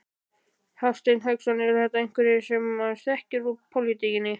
Hafsteinn Hauksson: Eru þetta einhverjir sem maður þekkir úr pólitíkinni?